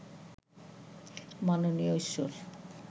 মাননীয় ঈশ্বর